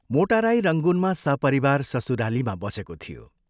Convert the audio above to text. मोटा राई रंगूनमा सपरिवार ससुरालीमा बसेको थियो।